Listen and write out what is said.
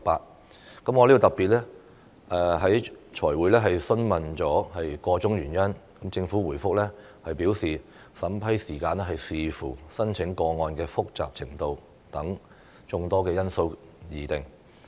我在財務委員會特別會議上詢問箇中原因，政府回覆表示審批時間視乎申請個案的複雜程度等眾多因素而定。